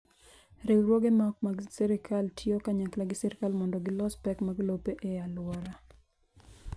Riwruoge ma ok mag sirkal tiyo kanyakla gi sirkal mondo gilos pek mag lope e alwora.